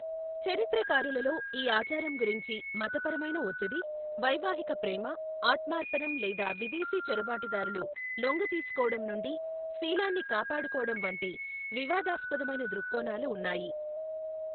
చరిత్రకారులలో, ఈ ఆచారం గురించి మతపరమైన వత్తిడి, వైవాహిక ప్రేమ, ఆత్మార్పణం లేదా విదేశీ చొరబాటుదారులు లొంగదీసుకోవడం నుండి శీలాన్ని కాపాడుకోవటం వంటి, వివాదాస్పదమైన ధృక్కోణాలు ఉన్నాయి.